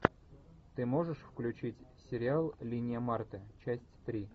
ты можешь включить сериал линия марты часть три